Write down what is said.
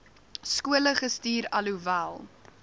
skole gestuur alhoewel